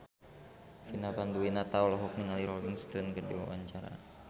Vina Panduwinata olohok ningali Rolling Stone keur diwawancara